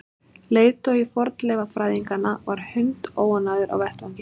Leiðtogi fornleifafræðinganna var hundóánægður á vettvangi.